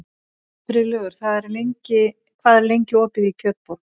Friðlaugur, hvað er lengi opið í Kjötborg?